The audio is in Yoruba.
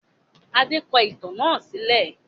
Adé ń kọ ìtàn náà sílẹ̀